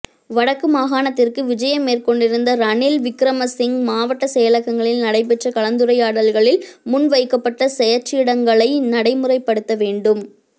வடக்கு மாகாணத்திற்கு விஜயம் மேற்கொண்டிருந்த ரணில் விக்கிரமசிங்க மாவட்ட செயலகங்களில் நடைபெற்ற கலந்துரையாடல்களில் முன்வைக்கப்பட்ட செயற்றிட்டங்களை நடைமுறைப்படுத்த வேண்டும்